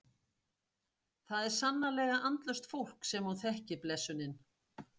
Það er sannarlega andlaust fólk sem hún þekkir blessunin.